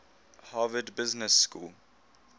harvard business school